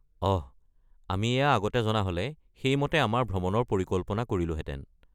অহ, আমি এয়া আগতে জনা হ’লে সেইমতে আমাৰ ভ্ৰমণৰ পৰিকল্পনা কৰিলোহেঁতেন।